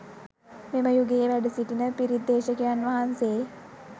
මෙම යුගයේ වැඩ සිටින පිරිත් දේශකයන් වහන්සේ